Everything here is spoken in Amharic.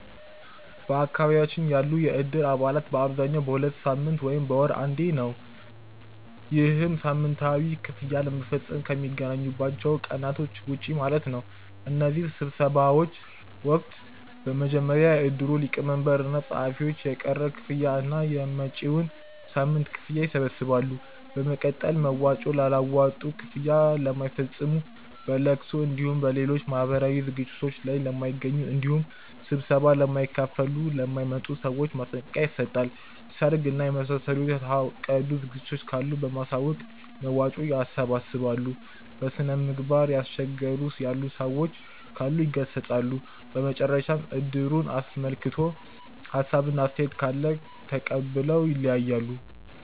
በአካባቢያችን ያሉ የእድር አባላት በአብዛኛው በሁለት ሳምንት ወይም በወር አንዴ ነው። ይህም ሳምንታዊ ክፍያ ለመፈፀም ከሚገናኙባቸው ቀናቶች ውጪ ማለት ነው። በእነዚህ ስብሰባዎች ወቅትም በመጀመሪያ የእድሩ ሊቀመንበር እና ፀሀፊዎች የቀረ ክፍያ እና የመጪዉን ሳምንት ክፍያ ይሰበስባሉ። በመቀጠል መዋጮ ላላዋጡ፣ ክፍያ ለማይፈፅሙ፣ በለቅሶ እንዲሁም በሌሎች ማህበራዊ ዝግጅቶት ላይ ለማይገኙ እንዲሁም ስብሰባ ለማይካፈሉ ( ለማይመጡ) ሰዎች ማስጠንቀቂያ ይሰጣል። ሰርግ እና የመሳሰሉ የታቀዱ ዝግጅቶች ካሉ በማሳወቅ መዋጮ ያሰባስባሉ። በስነምግባር እያስቸገሩ ያሉ ሰዎች ካሉ ይገሰፃሉ። በመጨረሻም እድሩን አስመልክቶ ሀሳብ እና አስተያየት ካለ ተቀብለው ይለያያሉ።